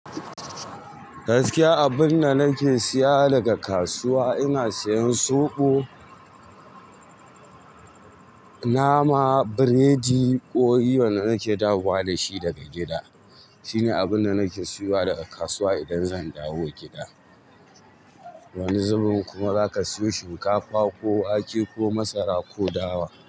Gaskiya abun da nake siya daga kasuwa, ina siyan soɓo, nama, biredi, ƙori wanda nake dawowa dashi daga gida. Shi ne abun da nake siyowa daga kasuwa idan zan dawo gida. Wani zubin kuma zaka siyo shinkafa, ko wake ko masara ko dawa.